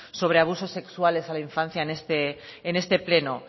sobre abusos sexuales a la infancia en este pleno